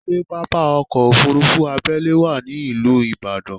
Ṣé pápá ọkọ́ Òfurufú abẹ́lé wà ní ìlú Ìbàdàn?